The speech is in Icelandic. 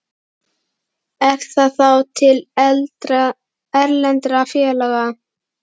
Er það þá til erlendra félaga?